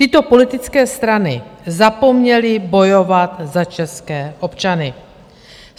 Tyto politické strany zapomněly bojovat za české občany.